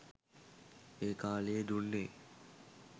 ඒ කාලයේ දුන්නේ